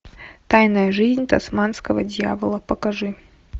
тайная жизнь тасманского дьявола покажи